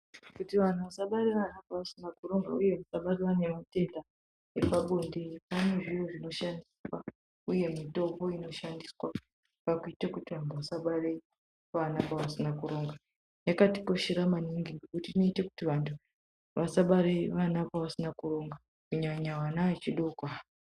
Kuti vantu vasabare vanaba vasina kuronga uye vasabatwe ngematenda epabonde pane zviro zvinoshandiswa uye mitombo inoshandiswa pakuite kuti vantu vasabare vanaba vasina kuronga. Yakatikoshera maningi ngokuti inoita kuti vantu vasabare vanaba vasina kuronga kunyanya vana vechidoko ava.